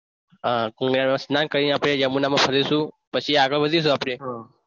હા એનું સ્નાન કરીને આપણે યમુનામાં ફરી શું આગળ વધીશું આપડે